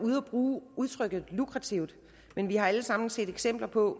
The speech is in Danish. ude at bruge udtrykket lukrativt men vi har alle sammen set eksempler på